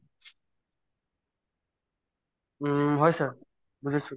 উম, হয় sir বুজিছো